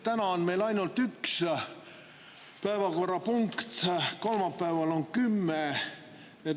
Täna on meil ainult üks päevakorrapunkt, kolmapäeval on kümme.